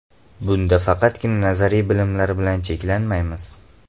Bunda faqatgina nazariy bilimlar bilan cheklanmaymiz.